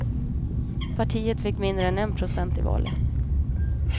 Partiet fick mindre än en procent i valet.